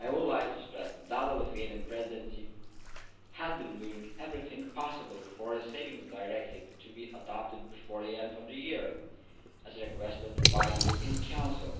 I would like to stress that the Lithuanian Presidency has been doing everything possible for a Savings Directive to be adopted before the end of the year, as requested by the European Council.